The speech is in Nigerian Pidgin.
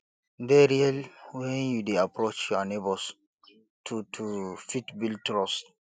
dey real when you dey approach your neigbours to to fit build trust